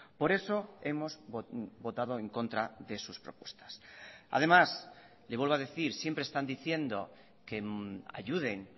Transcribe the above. por eso hemos votado en contra de sus propuestas además le vuelvo a decir siempre están diciendo que ayuden